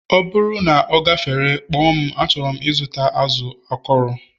ọ bụrụ na ọ gafere, kpọọ m achọrọ m ịzụta azụ akọrọ